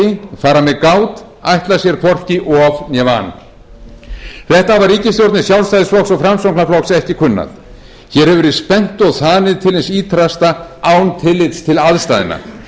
með gát ætla sér hvorki of né van þetta hafa ríkisstjórnir sjálfstæðisflokks og framsóknarflokks ekki kunnað hér hefur verið spennt og þanið til hins ýtrasta án tillits til aðstæðna